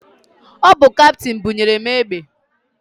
Ọ bụ kaptịn bunyere mụ egbe.